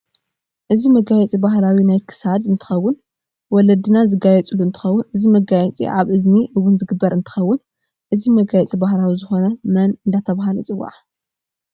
እዚ መጋያፂ በህላዊ ናይ ክሳድ እንትከውን ወለዲናዝጋይፃሉ እንትከውን እቲ መጋየፂ ኣብ እዚኒ እውን ዝግበር እንትከውን እዚ መጋያፂ ባህላዊ ዝኮነ መን እዳተበሃለ ይፅዋዕ?